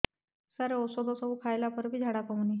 ସାର ଔଷଧ ସବୁ ଖାଇଲା ପରେ ବି ଝାଡା କମୁନି